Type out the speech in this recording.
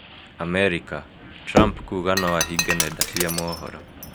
Amerika: Trump kũũga no ahinge nenda cia mohoro.